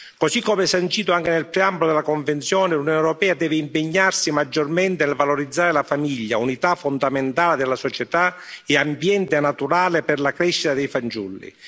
Così come sancito anche nel campo della Convenzione, l'Unione europea deve impegnarsi maggiormente a valorizzare la famiglia, unità fondamentale della società e ambiente naturale per la crescita dei fanciulli.